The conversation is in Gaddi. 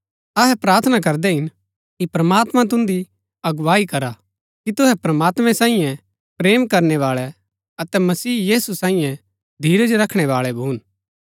अहै प्रार्थना करदै हिन कि प्रमात्मां तुन्दी अगुवाई करा कि तुहै प्रमात्मैं सांईये प्रेम करनै बाळै अतै मसीह यीशु सांईये धीरज रखणै बाळै भून